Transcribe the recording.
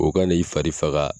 O ka na i fari faga